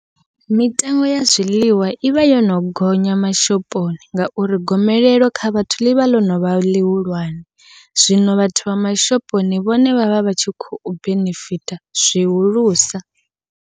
Mitengo ya zwiḽiwa ivha yono gonya mashoponi, ngauri gomelelo kha vhathu ḽivha ḽo novha ḽihulwane zwino vhathu vha mashoponi vhone vha vha vha tshi khou benefita zwihulusa.